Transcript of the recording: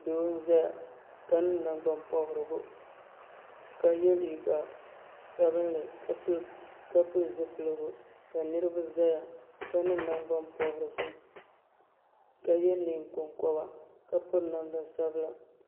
do. zaya ŋɔ ka niŋ nangbani pobirigu ka yɛ liga sabinli ka pɛli zupiligu ka niriba zaya ka niŋ nangba pobirisi ka yɛ nɛkonkoba ka pɛri namda sabila